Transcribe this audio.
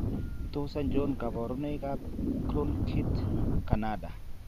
Tos achon kabarunaik ab Cronkhite Canada